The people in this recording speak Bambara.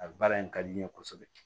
A baara in ka di n ye kosɛbɛ